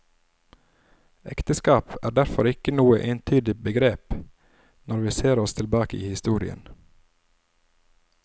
Ekteskap er derfor ikke noe entydig begrep når vi ser oss tilbake i historien.